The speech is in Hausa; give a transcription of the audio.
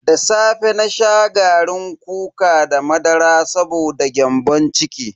Da safe na sha garin kuka da madara saboda gyambon ciki.